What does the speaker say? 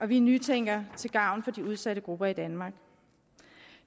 vi nytænker til gavn for de udsatte grupper i danmark